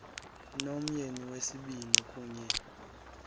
nomyeni wesibini kuye